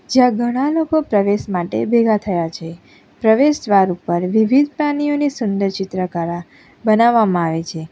જ્યાં ઘણા લોકો પ્રવેશ માટે ભેગા થયા છે પ્રવેશદ્વાર ઉપર વિવિધ પ્રાણીઓની સુંદર ચિત્રકરા બનાવવામાં આવે છે.